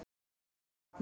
Því var hafnað